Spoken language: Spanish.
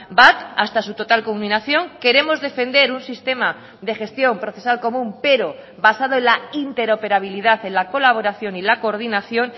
bat hasta su total culminación queremos defender un sistema de gestión procesal común pero basado en la interoperabilidad en la colaboración y la coordinación